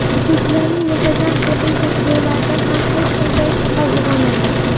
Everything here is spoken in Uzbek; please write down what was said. Uchuvchilarning muntazam tibbiy tekshiruvlarida ham hech qanday shubha uyg‘onmagan.